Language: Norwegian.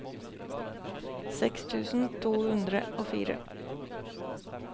seks tusen to hundre og fire